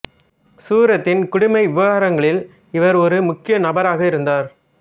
சூரத்தின் குடிமை விவகாரங்களில் இவர் ஒரு முக்கிய நபராக இருந்தார்